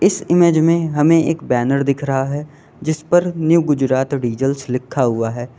इस इमेज में हमें एक बैनर दिख रहा है जिस पर न्यू गुजरात डीजल्स लिखा हुआ है।